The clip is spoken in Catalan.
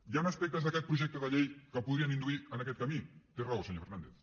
hi han aspectes d’aquest projecte de llei que podrien induir a aquest camí té raó senyor fernàndez